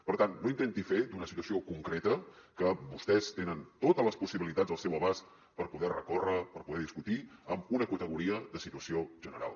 per tant no intenti fer d’una situació concreta que vostès tenen totes les possibilitats al seu abast per poder recórrer per poder discutir una categoria de situació general